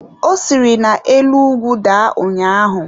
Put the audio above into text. Ọ siri na-elu ugwu daa ụnyaahụ.